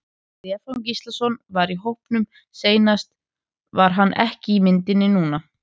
Stefán Gíslason var í hópnum seinast var hann ekki í myndinni núna?